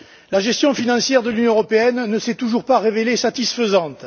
La gestion financière de l'Union européenne ne s'est toujours pas révélée satisfaisante.